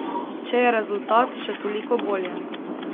Če je rezultat, še toliko bolje.